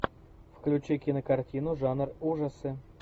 включи кинокартину жанр ужасы